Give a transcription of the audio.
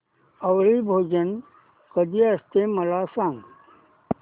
आवळी भोजन कधी असते मला सांग